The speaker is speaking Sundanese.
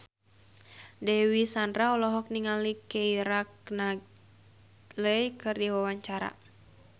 Dewi Sandra olohok ningali Keira Knightley keur diwawancara